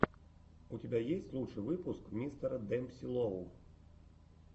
у тебя есть лучший выпуск мистера демпси лоу